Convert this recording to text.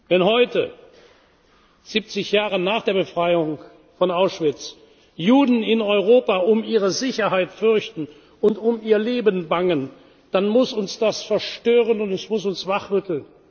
Wenn heute, 70 Jahre nach der Befreiung von Auschwitz, Juden in Europa um ihre Sicherheit fürchten und um ihr Leben bangen, dann muss uns das verstören, und es muss uns wachrütteln.